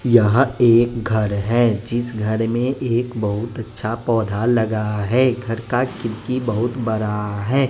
यहां एक घर है जिस घर में एक बहुत अच्छा पौधा लगा है घर का खिड़की बहुत बड़ा है।